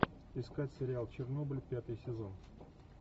искать сериал чернобыль пятый сезон